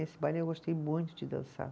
Esse baile eu gostei muito de dançar.